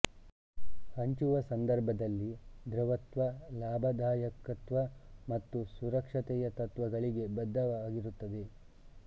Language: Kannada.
ಹಂಚುವ ಸಂದರ್ಭದಲ್ಲಿ ದ್ರವತ್ವ ಲಾಭದಾಯಕತ್ವ ಮತ್ತು ಸುರಕ್ಷತೆಯ ತತ್ವಗಳಿಗೆ ಬದ್ಧವಾಗಿರುತ್ತದೆ